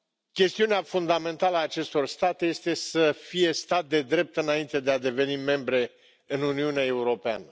Chestiunea fundamentală a acestor state este să fie stat de drept înainte de a deveni membre în Uniunea Europeană.